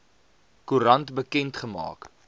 koerant bekend gemaak